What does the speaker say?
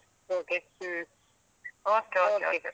Okay . Hmm okay okay okay .